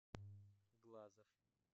глазов